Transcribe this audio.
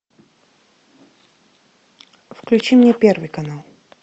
включи мне первый канал